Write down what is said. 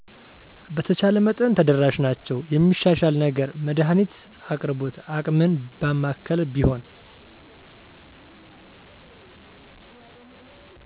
በተቻለ መጠን ተደራሽ ናቸዉ የሚሻሻል ነገር መድሀኒት አቅርቦት አቅምን ባማከለ ቢሆን